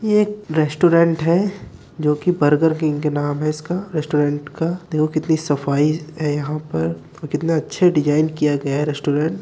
ये एक रेस्टोरेंट है जो कि बर्गर किंग के नाम है इसका रेस्टोरेंट का देखो कितनी सफाई है यहाँ पर और कितने अच्छे डिजाइन किया गया है रेस्टोरेंट ।